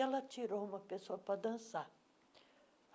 Ela tirou uma pessoa para dançar.